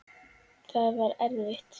Það var erfitt.